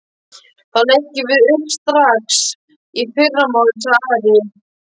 Þá leggjum við upp strax í fyrramálið, sagði Ari.